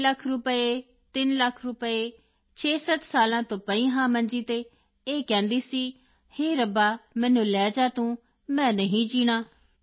ਢਾਈ ਲੱਖ ਰੁਪਏ ਤਿੰਨ ਲੱਖ ਰੁਪਏ 67 ਸਾਲਾਂ ਤੋਂ ਪਈ ਹਾਂ ਮੰਜੀ ਤੇ ਇਹ ਕਹਿੰਦੀ ਸੀ ਹੇ ਰੱਬਾ ਮੈਨੂੰ ਲੈ ਜਾ ਤੂੰ ਮੈਂ ਨਹੀਂ ਜੀਣਾ